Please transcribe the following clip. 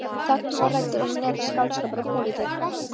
Þarna var ræddur hinn nýrri skáldskapur og pólitík.